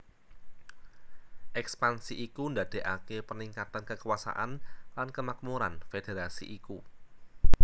Ekspansi iku ndadekake peningkatan kekuasaan lan kemakmuran federasi iku